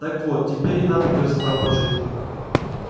так вот теперь и нам придётся там пожить